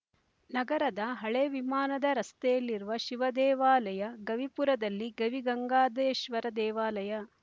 ನಗರದ ಹಳೇ ವಿಮಾನದ ರಸ್ತೆಯಲ್ಲಿರುವ ಶಿವ ದೇವಾಲಯ ಗವಿಪುರದಲ್ಲಿ ಗವಿಗಂಗಾದೇಶ್ವರ ದೇವಾಲಯ